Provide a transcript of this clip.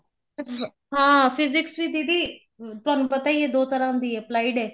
ਹਾਂ physics ਵੀ ਦੀਦੀ ਤੁਹਾਨੂੰ ਪਤਾ ਈ ਏ ਦੋ ਤਰ੍ਹਾਂ ਦੀ ਏ applied ਏ